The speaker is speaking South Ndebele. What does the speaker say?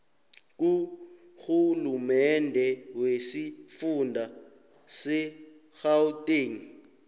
kurhulumende wesifunda segauteng